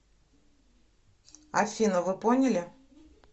афина вы поняли